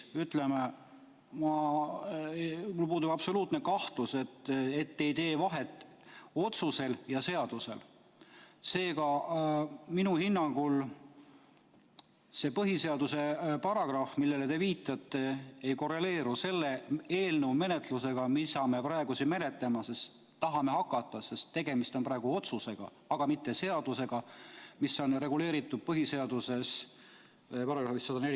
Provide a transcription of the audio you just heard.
Mul puudub absoluutselt kahtlus, et te ei tee vahet otsusel ja seadusel, seega minu hinnangul see põhiseaduse paragrahv, millele te viitate, ei korreleeru selle eelnõuga, mida me praegu menetlema tahame hakata, sest tegemist on otsusega, mitte seadusega, mis on reguleeritud põhiseaduse §-s 104.